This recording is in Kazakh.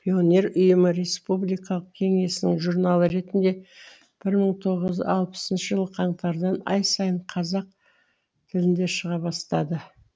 пионер ұйымы республикалық кеңесінің журналы ретінде бір мың тоғыз жүз алпысыншы жылы қаңтардан ай сайын қазақ тілінде шыға бастады